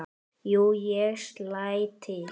Jú, ég slæ til